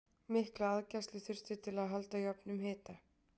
mikla aðgæslu þurfti til að halda jöfnum hita